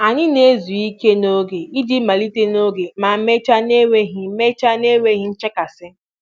Anyị na-ezu ike n'oge iji malite n'oge ma mechaa n'enweghị mechaa n'enweghị nchekasị.